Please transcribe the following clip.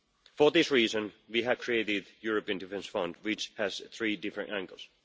For this reason, we have created the European defence fund, which has three different angles.